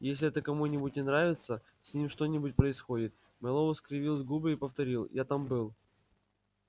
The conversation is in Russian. если это кому-нибудь не нравится с ним что-нибудь происходит мэллоу скривил губы и повторил я там был